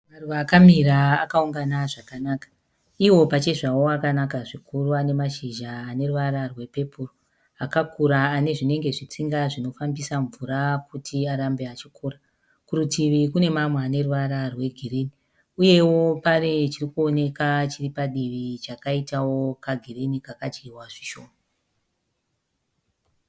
Maruva akamira akaungana zvakanaka. Iwo pachezvawo akanaka zvikuru anemashizha aneruvara rwepepuru akakura anezvinenge zvitsinga zvinofambisa mvura kuti arambe achikura. Kurutivi kune mamwe aneruvara rwegirini, uyewo pane chirikuoneka chiripadivi chakaitawo kagirini chakadyiwa zvishoma.